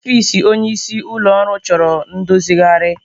Ọfịs onyeisi ụlọ ọrụ chọrọ ndozigharị.